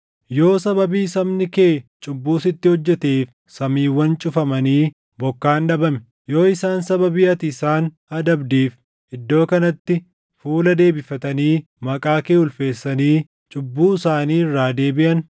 “Yoo sababii sabni kee cubbuu sitti hojjeteef samiiwwan cufamanii bokkaan dhabame, yoo isaan sababii ati isaan adabdeef iddoo kanatti fuula deebifatanii maqaa kee ulfeessanii cubbuu isaanii irraa deebiʼan,